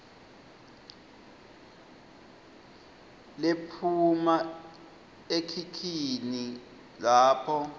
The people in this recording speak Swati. lephuma ekhikhini lakho